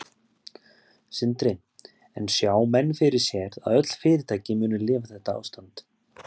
Sindri: En sjá menn fyrir sér að öll fyrirtæki muni lifa þetta ástand?